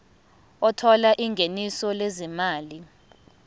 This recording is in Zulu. othola ingeniso lezimali